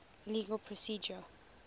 legal procedure